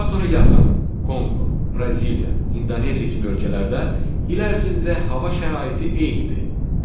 Ekvatora yaxın Konqo, Braziliya, İndoneziya kimi ölkələrdə il ərzində hava şəraiti eynidir: